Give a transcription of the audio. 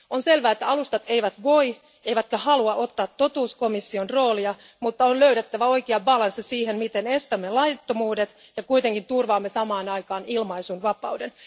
On selvää, että alustat eivät voi, eivätkä halua ottaa totuuskomission roolia, mutta on löydettävä oikea tasapaino siihen, miten estämme laittomuudet ja kuitenkin turvaamme samaan aikaan ilmaisunvapauden.